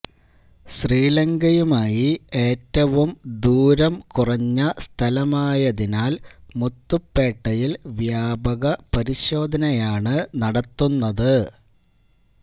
ശ്രീലങ്കയുമായി ഏറ്റവും ദൂരം കുറഞ്ഞ സ്ഥലമായതിനാല് മുത്തുപ്പേട്ടയില് വ്യാപക പരിശോധനയാണ് നടത്തുന്നത്